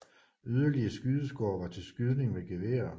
Yderligere skydeskår var til skydning med geværer